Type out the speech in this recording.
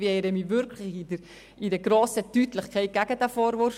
Ich wehre mich wirklich mit grosser Deutlichkeit gegen diesen Vorwurf.